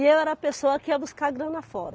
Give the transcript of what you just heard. E eu era a pessoa que ia buscar grana fora.